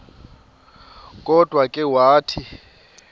kodwa ke wathi